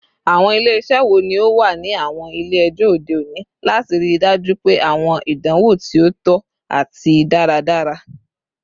Awọn ile-iṣẹ wo ni o wa ni awọn ile-ẹjọ ode oni lati rii daju pe awọn idanwo ti o tọ ati daradara?